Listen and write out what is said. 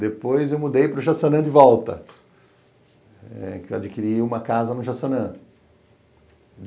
Depois eu mudei para o Jaçanã de volta, adquiri uma casa no Jaçanã.